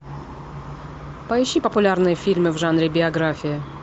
поищи популярные фильмы в жанре биография